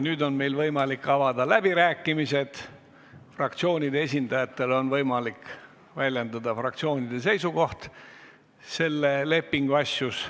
Nüüd on meil võimalik avada läbirääkimised, fraktsioonide esindajatel on võimalik väljendada fraktsioonide seisukohti selle lepingu asjus.